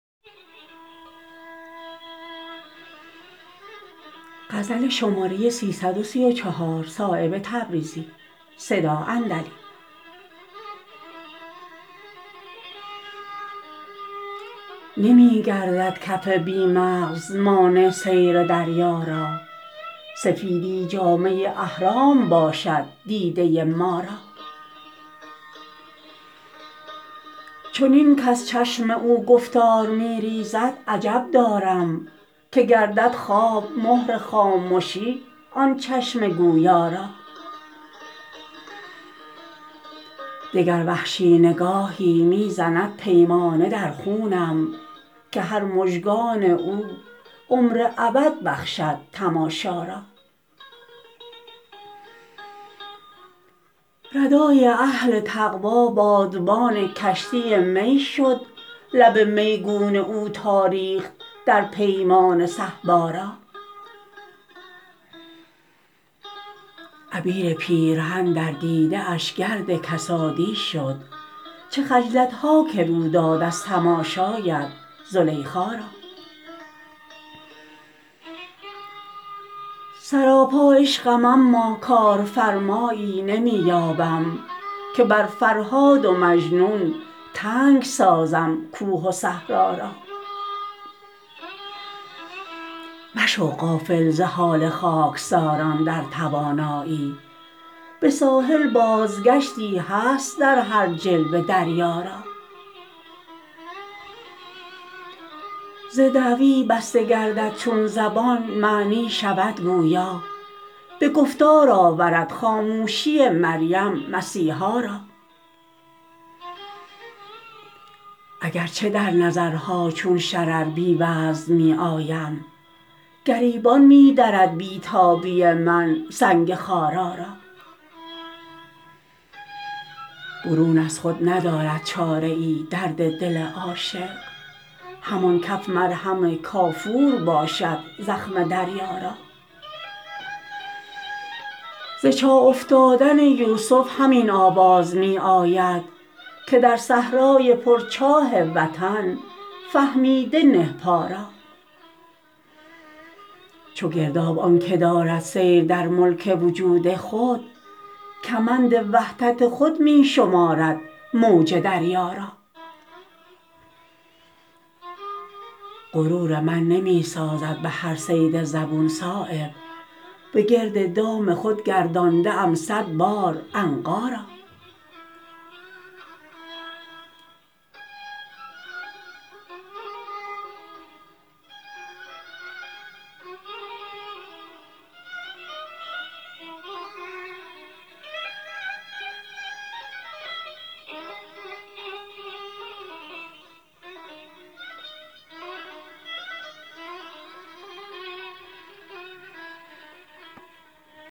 نمی گردد کف بی مغز مانع سیر دریا را سفیدی جامه احرام باشد دیده ما را چنین کز چشم او گفتار می ریزد عجب دارم که گردد خواب مهر خامشی آن چشم گویا را دگر وحشی نگاهی می زند پیمانه در خونم که هر مژگان او عمر ابد بخشد تماشا را ردای اهل تقوی بادبان کشتی می شد لب میگون او تا ریخت در پیمانه صهبا را عبیر پیرهن در دیده اش گرد کسادی شد چه خجلت ها که رو داد از تماشایت زلیخا را سراپا عشقم اما کارفرمایی نمی یابم که بر فرهاد و مجنون تنگ سازم کوه و صحرا را مشو غافل ز حال خاکساران در توانایی به ساحل بازگشتی هست در هر جلوه دریا را ز دعوی بسته گردد چون زبان معنی شود گویا به گفتار آورد خاموشی مریم مسیحا را اگر چه در نظرها چون شرر بی وزن می آیم گریبان می درد بی تابی من سنگ خارا را برون از خود ندارد چاره ای درد دل عاشق همان کف مرهم کافور باشد زخم دریا را ز چاه افتادن یوسف همین آواز می آید که در صحرای پر چاه وطن فهمیده نه پا را چو گرداب آن که دارد سیر در ملک وجود خود کمند وحدت خود می شمارد موج دریا را غرور من نمی سازد به هر صید زبون صایب به گرد دام خود گردانده ام صد بار عنقا را